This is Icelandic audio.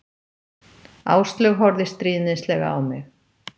Áslaug horfði stríðnislega á mig.